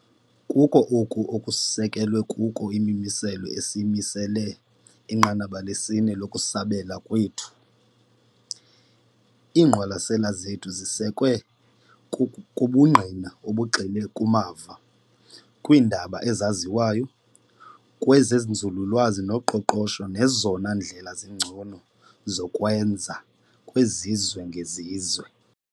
Kuko oku ekusekelwe kuko imimiselo esiyimisele inqanaba lesi-4 lokusabela kwethu. Iingqwalasela zethu zisekwe kubungqina obugxile kumava, kwiindaba ezaziwayo, kwezenzululwazi noqoqosho nezona ndlela zingcono zokwenza kwezizwe ngezizwe.